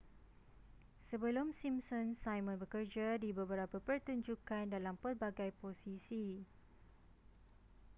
sebelum simpsons simon bekerja di beberapa pertunjukan dalam pelbagai posisi